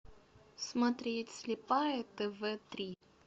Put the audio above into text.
смотреть слепая тв три